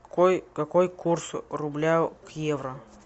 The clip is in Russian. какой курс рубля к евро